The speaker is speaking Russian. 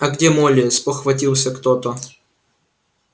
а где молли спохватился кто-то